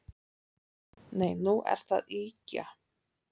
Nei, nú ertu að ýkja